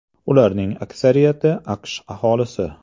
Ularning aksariyati AQSh aholisi.